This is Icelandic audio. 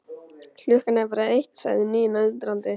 Klukkan er bara eitt, sagði Nína undrandi.